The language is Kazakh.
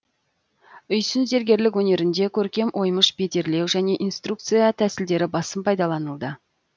үйсін зергерлік өнерінде көркем оймыш бедерлеу және инкрустация тәсілдері басым пайдаланылды